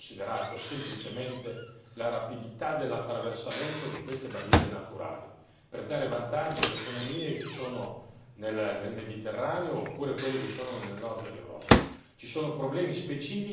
Il problema non può essere considerato semplicemente la rapidità dell'attraversamento di queste barriere naturali, per dare vantaggi alle economie che sono nel Mediterraneo oppure quelle che sono nel nord dell'Europa.